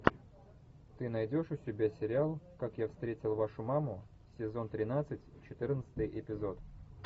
ты найдешь у себя сериал как я встретил вашу маму сезон тринадцать четырнадцатый эпизод